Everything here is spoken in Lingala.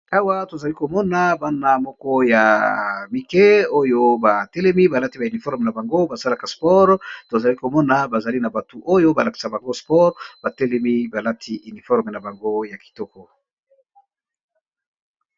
Awa tozali komona bana moko ya mike oyo ba telemi ba lati ba uniforme na bango ba salaka spore tozali komona bazali na batu oyo ba lakisa bango spore ba telemi ba lati uniforme na bango ya kitoko.